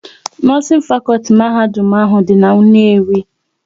Nọọsin fakọlti mahadum ahụ dị n'Nnewi